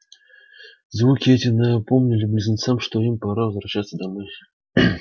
звуки эти напомнили близнецам что им пора возвращаться домой